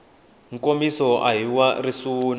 nkomiso a hi wa risuna